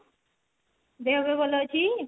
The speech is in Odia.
ଦେହ ଫେହ ଭଲ ଅଛି